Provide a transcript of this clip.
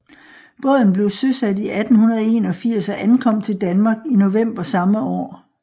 Båden blev søsat i 1881 og ankom til Danmark i november samme år